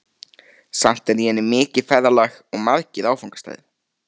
Samt er í henni mikið ferðalag og margir áfangastaðir.